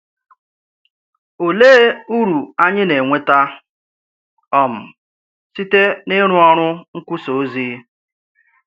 Òlee uru anyị na-enweta um site n’ịrụ ọrụ nkwusà ozi?